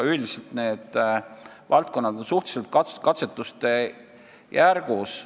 Üldiselt on need valdkonnad suhteliselt katsetuste järgus.